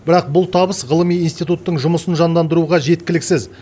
бірақ бұл табыс ғылыми институттың жұмысын жандандыруға жеткіліксіз